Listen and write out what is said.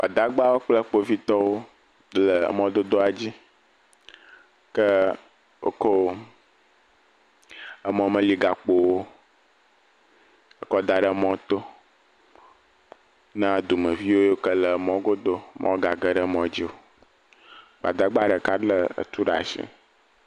Gbadagbawo kple kpovitɔwo le emɔdodoa dzi, ke woko emɔmeyigakpowo ekɔda ɖe mɔ to na dumevi yiwo ke le mɔgodo mɔgage ɖe mɔ dzi o. Gbadagba ɖeka lé etu ɖe asi.